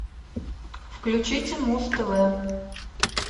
включите муз тв